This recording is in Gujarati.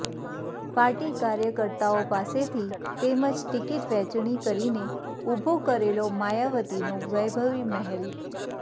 પાર્ટી કાર્યકર્તાઓ પાસેથી તેમજ ટિકિટ વહેંચણી કરીને ઉભો કરેલો માયાવતીનો વૈભવી મહેલ